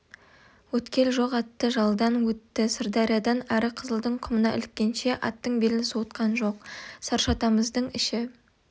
өткел жоқ атты жалдап өтті сырдариядан әрі қызылдың құмына іліккенше аттың белін суытқан жоқ саршатамыздың іші